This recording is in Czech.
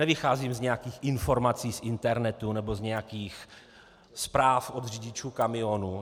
Nevycházím z nějakých informací z internetu nebo z nějakých zpráv od řidičů kamionů.